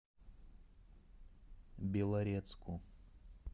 белорецку